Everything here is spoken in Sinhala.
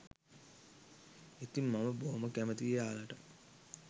ඉතින් මම බොහොම කැමතියි ඔයාලට